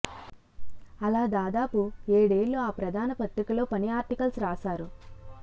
అలా దాదాపు ఏడేళ్ళు ఆ ప్రధాన పత్రికలో పని ఆర్టికల్స్ రాశారు